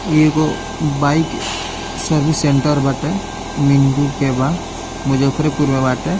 ई एगो bike service centre बाटे मिंटू के बा मुज्जफरेपुर में बाटे।